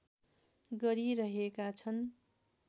गरिरहेका छन्